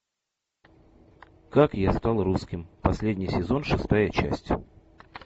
как я стал русским последний сезон шестая часть